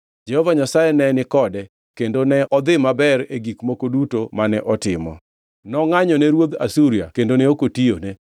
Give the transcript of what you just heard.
Jehova Nyasaye ne ni kode, kendo ne odhi maber e gik moko duto mane otimo. Nongʼanyone ruodh Asuria kendo ne ok otiyone.